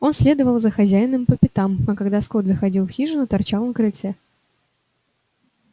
он следовал за хозяином по пятам а когда скотт заходил в хижину торчал на крыльце